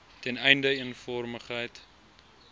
ten einde eenvormigheid